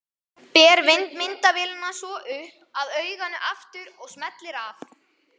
Ber myndavélina svo upp að auganu aftur og smellir af.